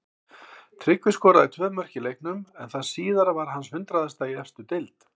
Tryggvi skoraði tvö mörk í leiknum en það síðara var hans hundraðasta í efstu deild.